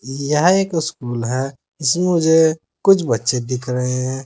यह एक स्कूल है इसमे मुझे कुछ बच्चे दिख रहे है।